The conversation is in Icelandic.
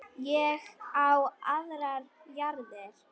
Ég á aðrar jarðir.